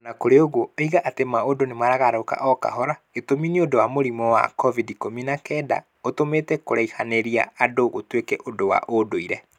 O na kũrĩ ũguo, oigaga atĩ maũndũ nĩ maragarũrũka o kahora. Gitũmi nĩ ũndũ wa mũrimũ wa COVID-19. ũtũmĩte kũraihanĩria andũ gũtuĩke ũndũ wa ndũire.